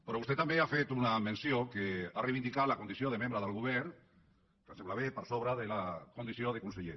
però vostè també ha fet una menció en què ha reivindicat la condició de membre del govern que em sembla bé per sobre de la condició de conseller